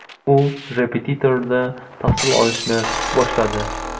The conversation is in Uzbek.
U repetitorda tahsil olishni boshladi.